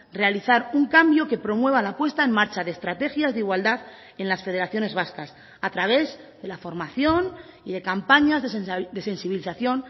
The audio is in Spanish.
realizar un cambio que promueva la puesta en marcha de estrategias de igualdad en las federaciones vascas a través de la formación y de campañas de sensibilización